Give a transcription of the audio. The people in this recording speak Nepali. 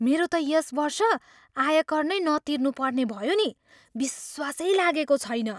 मेरो त यस वर्ष आयकर नै नतिर्नुपर्ने भयो नि! विश्वासै लागेको छैन।